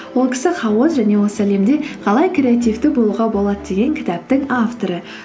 ол кісі хаос және осы әлемде қалай креативті болуға болады деген кітаптың авторы